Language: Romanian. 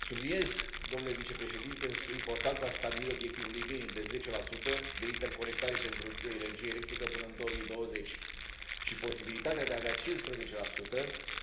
Subliniez, domnule vicepreședinte, importanța stabilirii obiectivului minim de 10 de interconectare pentru energie electrică până în 2020 și posibilitatea de a avea 15